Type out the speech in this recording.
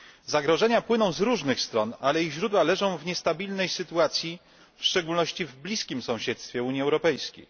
Zagrożenia płyną z różnych stron, ale ich źródła leżą w niestabilnej sytuacji, w szczególności w bliskim sąsiedztwie Unii Europejskiej.